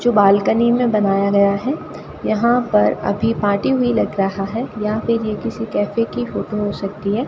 जो बालकनी में बनाया गया है यहां पर अभी पार्टी हुई लग रहा है या फिर ये किसी कैफे की फोटो हो सकती है।